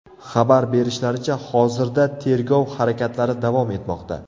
Xabar berishlaricha, hozirda tergov harakatlari davom etmoqda.